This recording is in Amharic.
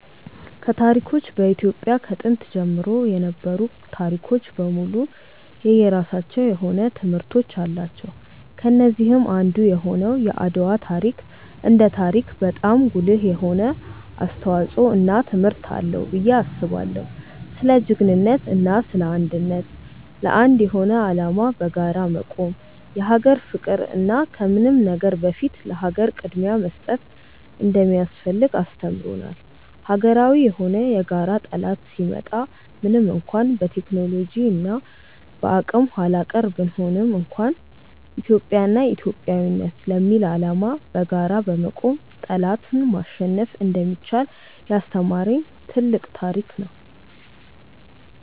ከታሪኮች በኢትዮጵያ ከጥንት ጀምሮ የነበሩ ታሪኮች በሙሉ የየራሳቸው የሆነ ትምህርቶች አላቸው። ከነዚህም አንዱ የሆነው የአድዋ ታሪክ እንደ ታሪክ በጣም ጉልህ የሆነ አስተዋጽዖ እና ትምህርት አለው ብዬ አስባለው። ስለ ጅግንነት እና ስለ አንድነት፣ ለአንድ የሆነ አላማ በጋራ መቆም፣ የሀገር ፍቅር እና ከምንም ነገር በፊት ለሀገር ቅድምያ መስጠት እንደሚያስፈልግ አስተምሮናል። ሀገራዊ የሆነ የጋራ ጠላት ሲመጣ ምንም እንኳን በቴክኖሎጂ እና በአቅም ኃላቀር ብንሆንም እንኳን ኢትዮጵያ እና ኢትዮጵያዊነት ለሚል አላማ በጋራ በመቆም ጠላትን ማሸነፍ እንደሚቻል ያስተማሪን ትልቅ ታሪክ ነው።